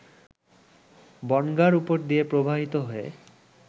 বনগাঁর উপর দিয়ে প্রবাহিত হয়ে